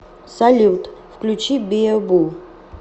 салют включи биэ бу